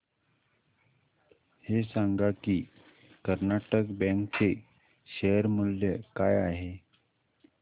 हे सांगा की कर्नाटक बँक चे शेअर मूल्य काय आहे